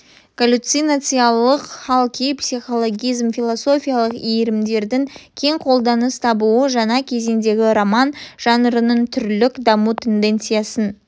галлюцинациялық хал-күй психологизм философиялық иірімдердің кең қолданыс табуы жаңа кезеңдегі роман жанрының түрлік даму тенденциясын